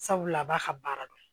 Sabula a b'a ka baara dɔn